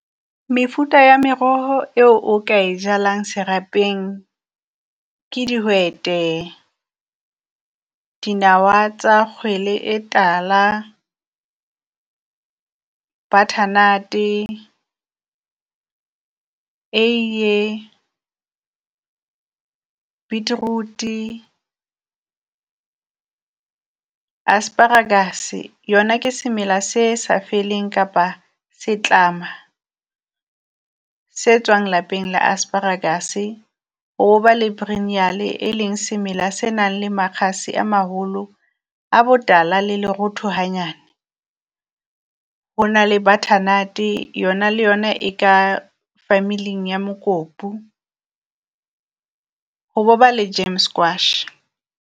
Mefuta ya meroho eo o ka e jalang serapeng ke dihwete, dinawa tsa kgwele e tala, butternut-e, eiee, a beetroot-e, asparagus, yona ke semela se sa feleng, kapa setlama se tswang lapeng la asparagus-e. Ho bo ba le e leng semela se nang le makgase a maholo a botala le lerotho hanyane, ho na le butternut yona le yona e ka family-ng ya mokopu ho ba le Gem squash.